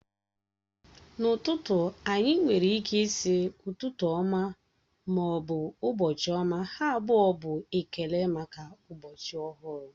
N'ụtụtụ, anyị nwere ịke ịsi ụtụtụ ọma ma ọ bụ ụbọchị ọma, ha abụọ bụ ekele maka ụbọchị ọhụrụ